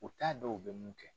U t'a dɔn u bɛ mun kɛ.